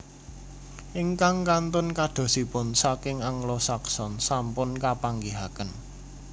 Ingkang kantun kadosipun saking Anglo Saxon sampun kapanggihaken